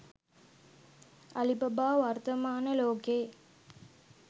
Alibaba වර්ථමාන ලෝකයේ